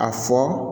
A fɔ